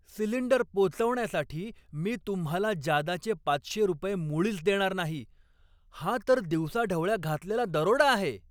Cylinder पोचवण्यासाठी मी तुम्हाला जादाचे पाचशे रुपये मुळीच देणार नाही. हा तर दिवसाढवळ्या घातलेला दरोडा आहे!